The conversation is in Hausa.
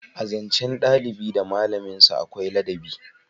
A zancen dalibi da malamin sa akwai ladabi